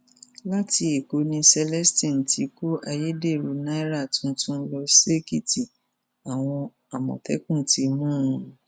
láti ẹkọ ni celestine ti kọ ayédèrú náírà tuntun lọ ṣèkìtì àwọn àmọtẹkùn ti mú un